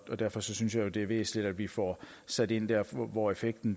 derfor synes jeg jo det er væsentligt at vi får sat ind der hvor effekten